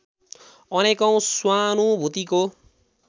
अनेकौँ स्वानुभूतिको